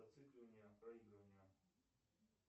зацикливание проигрывания